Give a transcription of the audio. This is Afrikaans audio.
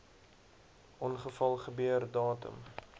ongeval gebeur datum